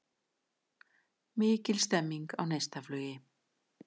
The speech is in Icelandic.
Mikil stemming á Neistaflugi